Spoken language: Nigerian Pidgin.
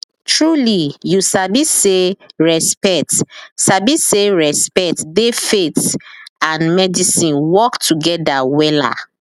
trulyyou sabi say respect sabi say respect dey faith and medice work together wella